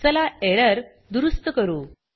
चला एरर दुरुस्त करू